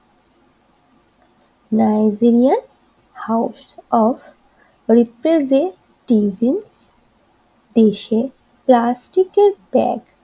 Nigerian house of দেশে প্লাস্টিকের bag